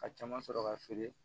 Ka caman sɔrɔ ka feere